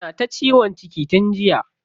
Tana ta ciwon ciki tun jiya.